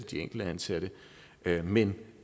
de enkelte ansatte men